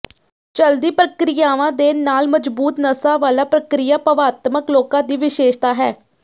ਚਲਦੀ ਪ੍ਰਕਿਰਿਆਵਾਂ ਦੇ ਨਾਲ ਮਜ਼ਬੂਤ ਨਸਾਂ ਵਾਲਾ ਪ੍ਰਕ੍ਰਿਆ ਭਾਵਾਤਮਕ ਲੋਕਾਂ ਦੀ ਵਿਸ਼ੇਸ਼ਤਾ ਹੈ